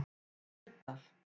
Leirdal